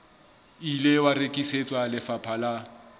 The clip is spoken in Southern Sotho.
ile wa rekisetswa lefapha la